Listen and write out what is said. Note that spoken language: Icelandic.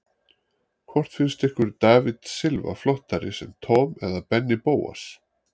Hvort finnst ykkur David Silva flottari sem Tom eða Benni Bóas?